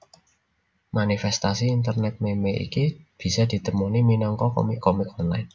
Manifèstasi internet meme iki bisa ditemoni minangka komik komik online